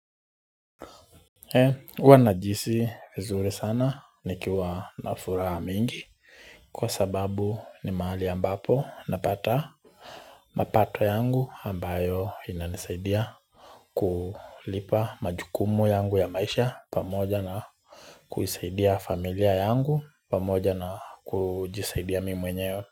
Huwanajiisi vizuri sana nikiwa nafuraha mingi kwa sababu ni mahali ambapo napata mapato yangu ambayo inanisaidia kulipa majukumu yangu ya maisha pamoja na kuisaidia familia yangu pamoja na kujisaidia mi mwenyewe.